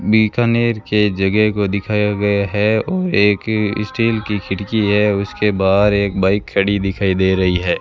बीकानेर के जगह को दिखाया गया है और एक स्टील की खिड़की है उसके बाहर एक बाइक खड़ी दिखाई दे रही है।